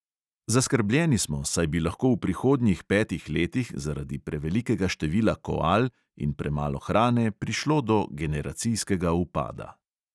Zaskrbljeni smo, saj bi lahko v prihodnjih petih letih zaradi prevelikega števila koal in premalo hrane prišlo do generacijskega upada.